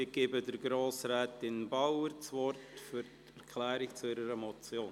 Ich gebe Grossrätin Bauer das Wort für eine Erklärung zu ihrer Motion.